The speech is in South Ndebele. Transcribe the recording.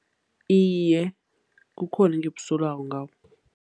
Iye, kukhona engikusolako ngakho.